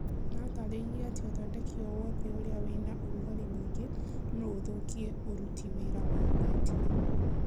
Atarĩĩrĩe atĩ ũthodeki owothe ũrĩa wĩna ũrũgarĩ mũingĩ no ũthũkie ũrutĩ wĩra wa mbetiri